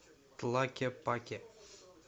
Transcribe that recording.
тлакепаке